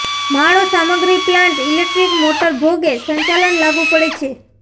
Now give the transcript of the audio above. માળો સામગ્રી plant electric motor ભોગે સંચાલન લાગુ પડે છે